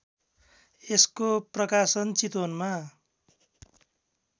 यसको प्रकाशन चितवनमा